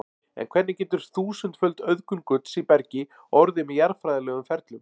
En hvernig getur þúsundföld auðgun gulls í bergi orðið með jarðfræðilegum ferlum?